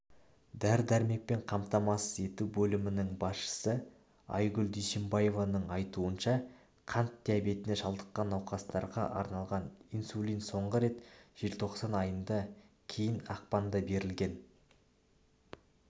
дәрі-дәрмекпен қамтамасыз ету бөлімінің басшысы айгүл дүйсенбаеваның айтуынша қант диабетіне шалдыққан науқастарға арналған инсулин соңғы рет желтоқсан айында кейін ақпанда берілген